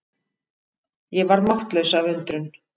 Ég varð máttlaus af undrun.